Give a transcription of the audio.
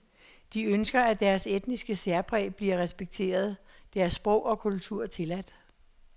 De ønsker, at deres etniske særpræg bliver respekteret, deres sprog og kultur tilladt.